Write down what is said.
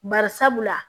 Bari sabula